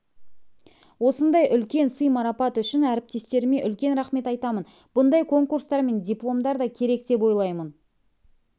осындай үлкен сый-марапат үшін әріптестеріме үлкен рахмет айтамын бұндай конкурстар мен дипломдар да керек деп ойлаймын